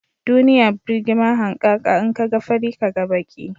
Duniya burgima hankaka, in ka ga fari, Ka ga baki